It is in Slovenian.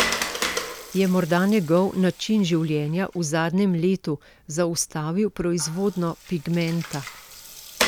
Je morda njegov način življenja v zadnjem letu zaustavil proizvodnjo pigmenta?